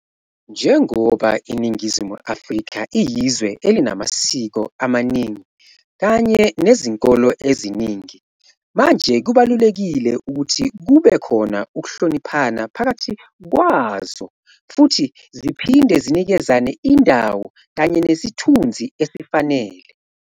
Njengoba IiNingizimu Afrika iyizwe elinamasiko amaningi kanye nezinkolo eziningi manje kubalulekile ukuthi kube khona ukuhloniphana pakathi kwazao futhi ziphinde zinikezane indawo kanye nesithunzi esifanele.